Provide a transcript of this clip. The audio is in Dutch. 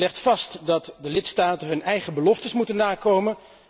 Het legt vast dat de lidstaten hun eigen beloftes moeten nakomen.